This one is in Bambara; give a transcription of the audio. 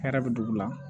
Hɛrɛ bɛ dugu la